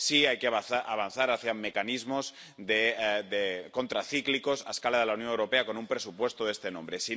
sí hay que avanzar hacia mecanismos contracíclicos a escala de la Unión Europea, con un presupuesto de este nombre.